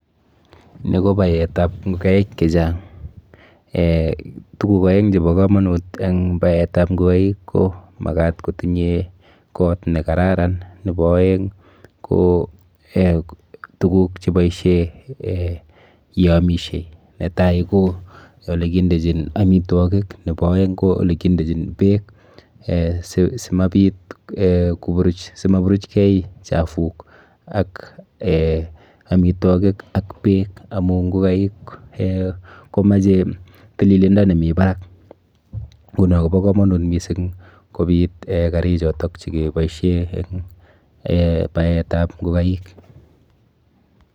Ni ko baetap ngokaik chechang. Tuguk aeng chepo komonut eng baetap ngokaik ko makat kotinye kot nekararan nepo aeng ko tuguk cheboishe eh yeamishe. Netai ko olekindechin amitwokik nepo aeng ko olekindechin beek eh simabit eh simaburuchkei chafuk ak amitwokik ak beek amu ngokaik komoche tililindo nemi barak. Nguno kopo komonut mising kobit karichoto chikeboishe eng eh baetap ngokaik.